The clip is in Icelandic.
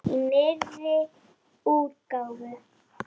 Í nýrri útgáfu!